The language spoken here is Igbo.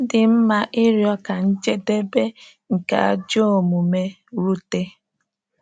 Ọ dị mma ịrịọ ka njedebe nke ajọ omume rute.